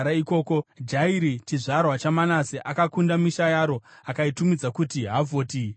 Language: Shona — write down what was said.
Jairi, chizvarwa chaManase, akakunda misha yaro akaitumidza kuti Havhoti Jairi.